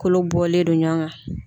Kolo bɔlen do ɲɔgɔn kan.